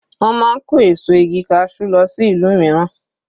Wọ́n máa ń kó èso igi cashew lọ sí ìlú mìíràn.